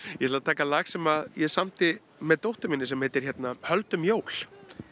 ég ætla að taka lag sem ég samdi með dóttur minni sem heitir höldum jól